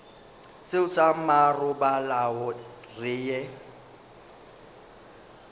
seo sa marobalo re ye